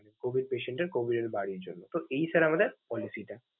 COVID patient এর COVID এর বাড়ির জন্য, তো এই sir আমাদের policy টা।